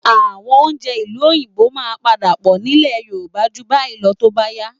Àwọn oúnjẹ ìlú Òyìnbó máa padà pọ̀ nílẹ̀ Yorùbá ju báyìí lọ tó bá yá